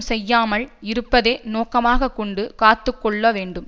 செய்யாமல் இருப்பதே நோக்கமாக கொண்டு காத்து கொள்ள வேண்டும்